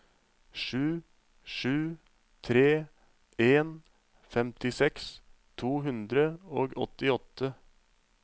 sju sju tre en femtiseks to hundre og åttiåtte